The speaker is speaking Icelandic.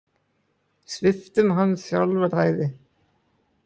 Sviptum hann sjálfræði.